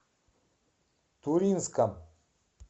туринском